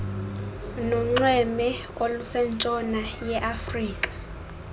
nonxweme olusentshona yeafrika